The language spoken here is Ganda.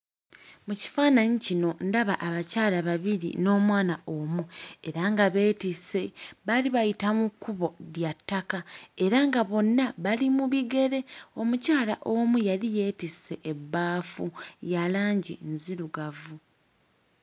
Mu kifaananyi kino ndaba abakyala babiri n'omwana omu era nga beetisse baali bayita mu kkubo lya ttaka era nga bonna bali mu bigere omukyala omu yali yeetisse ebbaafu ya langi nzirugavu.